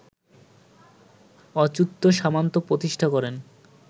অচ্যুত সামন্ত প্রতিষ্ঠা করেন